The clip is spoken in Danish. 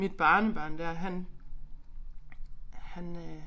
Mit barnebarn dér han han øh